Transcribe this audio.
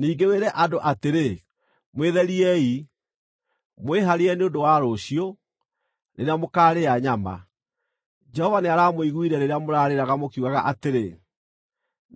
“Ningĩ wĩre andũ atĩrĩ, ‘Mwĩtheriei, mwĩhaarĩrie nĩ ũndũ wa rũciũ, rĩrĩa mũkaarĩa nyama. Jehova nĩaramũiguire rĩrĩa mũrarĩraga, mũkiugaga atĩrĩ,